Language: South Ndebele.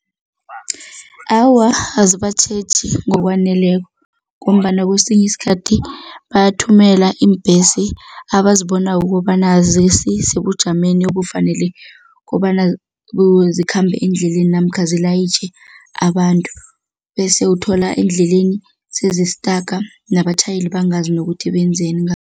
Awa, azibatjheji ngokwaneleko ngombana kwesinye isikhathi bathumela iimbhesi abazibonako ukobana azisisebujameni obufanele kobana zikhambe endleleni namkha zilayitjhe abantu bese uthola endleleni sezistaka, nabatjhayeli bangazi nokuthi benzeni